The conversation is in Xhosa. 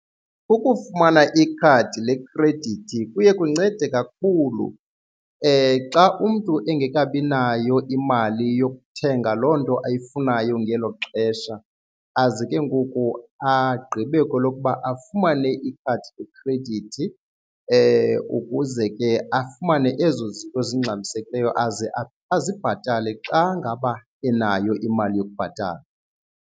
Ukufumana ikhadi lekhredithi kuye kuncede kakhulu xa umntu engekabi nayo imali yokuthenga loo nto ayifunayo ngelo xesha azi ke ngoku agqibe kwelokuba afumane ikhadi lekhredithi ukuze ke afumane ezo zinto zingxamisekileyo aze azibhatale xa ngaba enayo imali yokubhatala.